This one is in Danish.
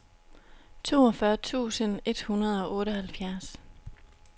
toogfyrre tusind et hundrede og otteoghalvfjerds